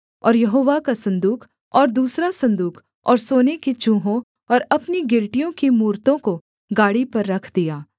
और यहोवा का सन्दूक और दूसरा सन्दूक और सोने के चूहों और अपनी गिलटियों की मूरतों को गाड़ी पर रख दिया